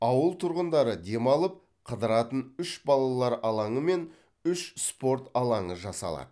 ауыл тұрғындары демалып қыдыратын үш балалар алаңы мен үш спорт алаңы жасалады